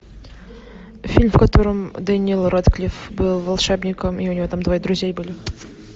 фильм в котором дэниел рэдклифф был волшебником и у него там двое друзей были